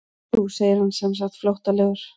Jú segir hann semsagt flóttalegur.